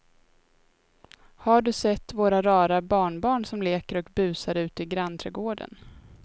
Har du sett våra rara barnbarn som leker och busar ute i grannträdgården!